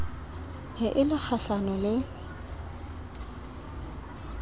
ne e le kgahlano le